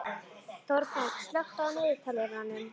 Þorberg, slökktu á niðurteljaranum.